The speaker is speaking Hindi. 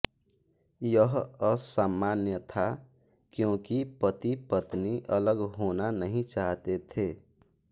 यह असामान्य था क्योंकि पतिपत्नी अलग होना नहीं चाहते थे